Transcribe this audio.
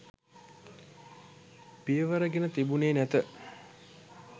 පියවර ගෙන තිබුණේ නැත